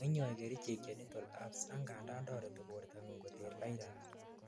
moinyoi kerichek genital herpes angandan toreti bortangung koter virus